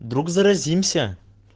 вдруг заразимся